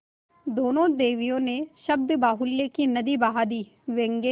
दोनों देवियों ने शब्दबाहुल्य की नदी बहा दी व्यंग्य